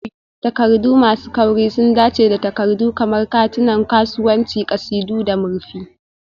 Takardu masu kauri sun dace da takardu kamar katunan kasuwanci, ƙasidu, da murfi.